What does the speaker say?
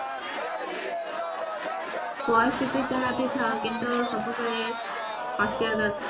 ପରିସ୍ଥିତି ଯାହାବି ଥାଉ କିନ୍ତୁ ସବୁ ବେଳେ ହସିବା ଦରକାର